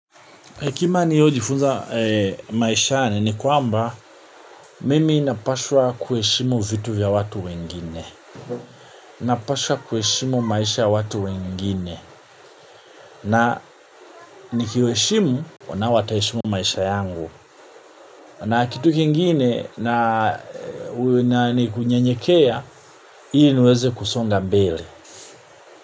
Kima niliyo jifunza maisha ni kwamba mimi napashwa kuheshimu vitu vya watu wengine. Napashwa kuheshimu maisha ya watu wengine. Na nikiheshimu nao wataheshimu maisha yangu. Na kitu kingine na kunyenyekea hii niweze kusonga mbele.